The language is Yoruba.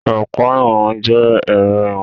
Ọ̀pá ìwọ̀n jẹ ẹrọ ìwọ̀n.